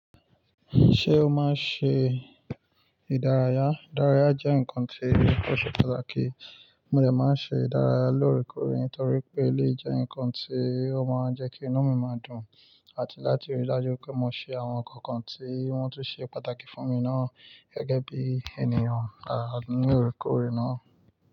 Ṣé o máa ń ṣe ìdárayá? Ìdárayá jẹ́ nǹkan tí ò ṣe pàtàkì. Mo dè máa ń ṣe ìdárayá lóòrèkóòrè nitotorí pé eleyii jẹ́ nǹkan tí ó máa ń jẹ́ kí inú mi máa dùn àti láti rí i dájú pé mo ṣe àwọn ǹkankan tí wọ́n tún ṣe pàtàkì fún mi náà gẹ́gẹ́ bí ènìyàn lára ni óòrèkóòrè náà.